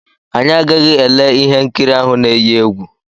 Anyị agaghị ele ihe nkiri ahụ na-eyi egwu.